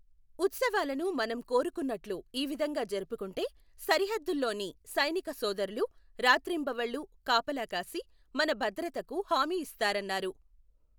ఉత్సవాలను మనం కోరుకున్నట్లు ఈ విధంగా జరుపుకుంటే, సరిహద్దుల్లోని సైనిక సోదరులు రాత్రిబవంళ్లూ కాపలా కాసి మన భద్రతకు హామీ ఇస్తారన్నారు.